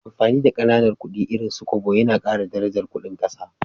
Amfani da Kananan kudi irin su Kobo Yana Kara darajar Ƙudin ƙasa